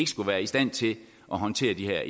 skulle være i stand til at håndtere de her